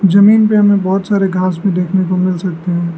जमीन पे हमें बहोत सारे घास भी देखने को मिल सकते है।